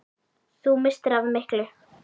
Þú misstir af miklu!